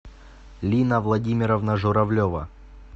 лина владимировна журавлева